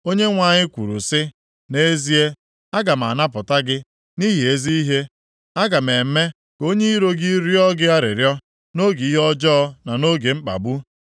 Onyenwe anyị kwuru sị, “Nʼezie, aga m anapụta gị nʼihi ezi ihe, aga m eme ka onye iro gị rịọ gị arịrịọ nʼoge ihe ọjọọ na nʼoge mkpagbu.